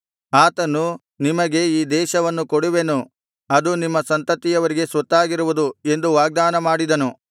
ಆತನು ನಿಮಗೆ ಈ ದೇಶವನ್ನು ಕೊಡುವೆನು ಅದು ನಿಮ್ಮ ಸಂತತಿಯವರಿಗೆ ಸ್ವತ್ತಾಗಿರುವುದು ಎಂದು ವಾಗ್ದಾನ ಮಾಡಿದನು